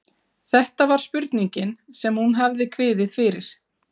Þetta var spurningin sem hún hafði kviðið fyrir.